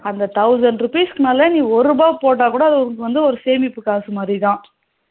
அந்த thousand rupees க்கு மேல நீ ஒரு ரூபா போட்டா கூட உனக்கு வந்து ஒரு சேமிப்பு காசு மாறிதான்